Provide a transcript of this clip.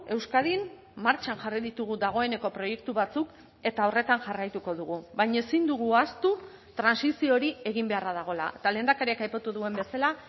euskadin martxan jarri ditugu dagoeneko proiektu batzuk eta horretan jarraituko dugu baina ezin dugu ahaztu trantsizio hori egin beharra dagoela eta lehendakariak aipatu duen bezala